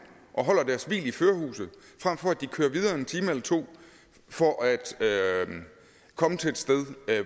og holder deres hvil i førerhuset frem for at de kører videre en time eller to for at komme til et sted